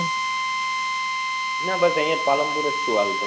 ના બસ અહિયાં જ પાલનપુર જ છુ હાલ તો